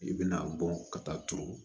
I bɛna bɔn ka taa turu